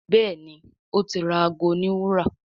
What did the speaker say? Béèni o tí ra àgọ òní wúrà.